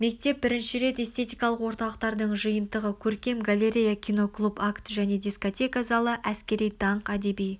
мектеп бірінші рет эстетикалық орталықтардың жиынтығы көркем галерея киноклуб акт және дискотека залы әскери даңқ әдеби